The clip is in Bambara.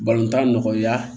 tan nɔgɔya